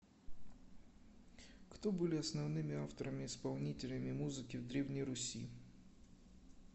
кто были основными авторами исполнителями музыки в древней руси